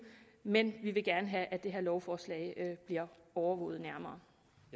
men vi vil gerne have at det her lovforslag bliver overvåget nærmere